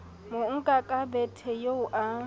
monka ka bethe eo a